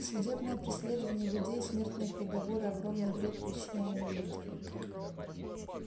судебное преследование людей смертные приговоры огромный вред причиняемый людям